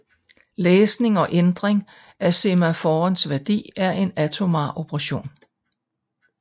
Læsning og ændring af semaforens værdi er en atomar operation